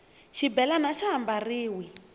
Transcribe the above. xibelani axa ha mbariwi